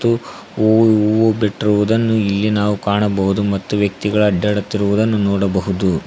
ಹೂವು ಬಿಟ್ಟಿರುವುದನ್ನು ಇಲ್ಲಿ ನಾವು ಕಾಣಬಹುದು ವ್ಯಕ್ತಿಗಳು ಅಡ್ಡಾಡುತ್ತಿರುವುದನ್ನು ನೋಡಬಹುದು.